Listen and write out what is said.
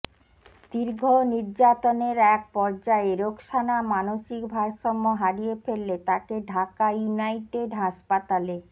দীর্ঘ নির্যাতনের এক পর্যায়ে রোকসানা মানুষিক ভারসাম্য হারিয়ে ফেললে তাকে ঢাকা ইউনাইটেড হাসপাতালে